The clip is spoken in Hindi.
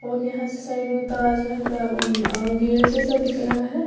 और यहां से साइड मे ताजमहल का गेट जैसा दिख रहा हैं।